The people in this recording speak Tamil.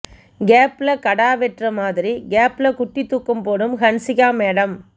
கேப்ல கடா வெட்டுற மாதிரி கேப்ல குட்டி தூக்கம் போடும் ஹன்சிகா மேடம்